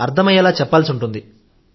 అర్థమయ్యేలా చెప్పాల్సి ఉంటుంది